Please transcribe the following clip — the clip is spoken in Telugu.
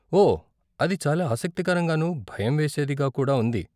ఓ, అది చాలా ఆసక్తికరంగానూ, భయం వేసేదిగా కూడా ఉంది.